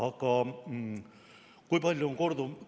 Aga kui palju on korduv?